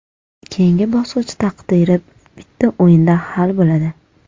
Keyingi bosqich taqdiri bitta o‘yinda hal bo‘ladi.